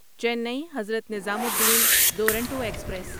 چینی حضرت نظامالدین دورونٹو ایکسپریس